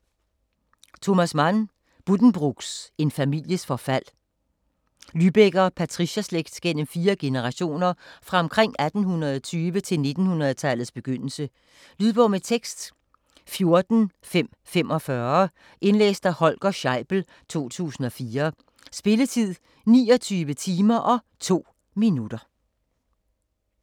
Mann, Thomas: Buddenbrooks: en families forfald Lybecker-patricierslægt gennem fire generationer fra omkring 1820 til 1900-tallets begyndelse. Lydbog med tekst 14545 Indlæst af Holger Scheibel, 2004. Spilletid: 29 timer, 2 minutter.